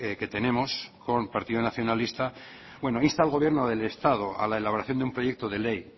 que tenemos con partido nacionalista bueno insta al gobierno del estado a la elaboración de un proyecto de ley